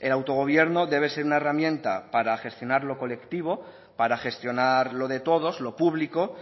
el autogobierno debe ser una herramienta para gestionarlo colectivo para gestionar lo de todos lo público